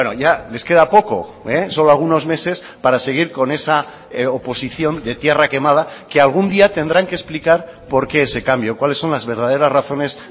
ya les queda poco solo algunos meses para seguir con esa oposición de tierra quemada que algún día tendrán que explicar por qué ese cambio cuáles son las verdaderas razones